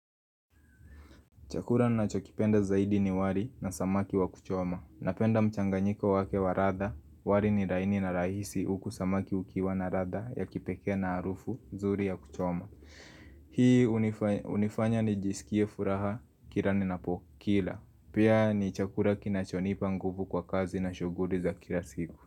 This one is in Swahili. Chakura na chokipenda zaidi ni wali na samaki wa kuchoma. Napenda mchanganyiko wake wa rada, wali ni raini na rahisi uku samaki ukiwa na rada ya kipekee na arufu, zuri ya kuchoma. Hii hunifanya ni isikie furaha, kila ni napokila. Pia ni chakura kinachonipa nguvu kwa kazi na shuguri za kila siku.